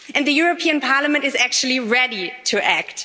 The European Parliament is actually ready to act.